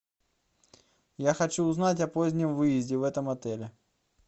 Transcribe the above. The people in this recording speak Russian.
я хочу узнать о позднем выезде в этом отеле